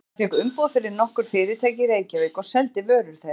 Hann fékk umboð fyrir nokkur fyrirtæki í Reykjavík og seldi vörur þeirra.